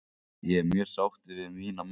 Ég er mjög sáttur við mína menn.